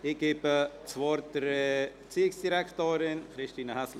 Ich gebe das Wort der Erziehungsdirektorin, Christine Häsler.